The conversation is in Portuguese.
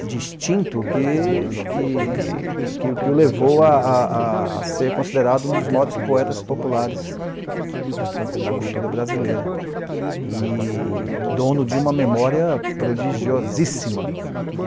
distinto que que que que o levou a a ser considerado um dos maiores poetas populares da cultura brasileira e dono de uma memória prodigiosíssima.